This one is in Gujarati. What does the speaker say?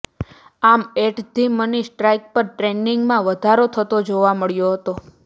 આમ એટ ધી મની સ્ટ્રાઇક પર ટ્રેડિંગમાં વધારો થતો જોવા મળ્યો હતો